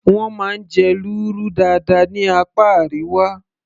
wọ́n máa ń jẹ lúrú dáadáa ní apá Àríwá